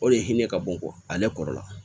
O de hinɛ ka bon kɔ ale kɔrɔ la